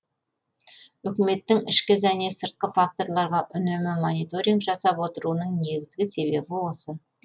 үкіметтің ішкі және сыртқы факторларға үнемі мониторинг жасап отыруының негізгі себебі осы